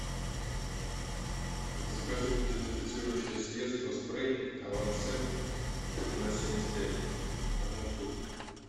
закажи дезинфицирующее средство спрей авансепт ноль семьдесят пять одну штуку